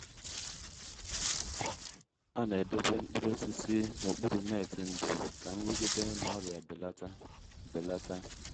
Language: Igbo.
fesa n’oge kwesịrị ekwesị ọ bụghị ugboro ugboro ka mkpụrụ ugbo ghara ugbo ghara imebi